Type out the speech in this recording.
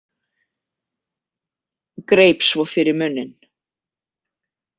Greip svo fyrir munninn.